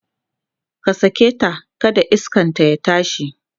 ka saketa kada iskanta ya tashi!